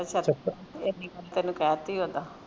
ਅਛਾ ਤੇ ਫੇਰ ਕੀ ਕਰਨਾ ਤੈਨੂੰ ਕਹਿ ਤੀ ਉਹਦਾ